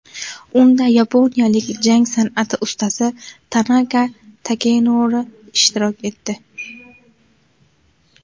Unda yaponiyalik jang san’ati ustasi Tanaka Takenori ishtirok etdi.